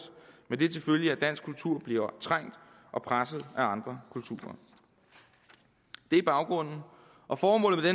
med det til følge at dansk kultur bliver trængt og presset af andre kulturer det er baggrunden og formålet med